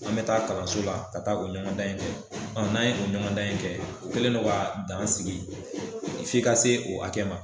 An bɛ taa kalanso la , ka taa o ɲɔgɔnda in kɛ. Ɔn n' an ye o ɲɔgɔn dan in kɛ , u kɛlen don ka dan sigi f'i ka se o hakɛ ma.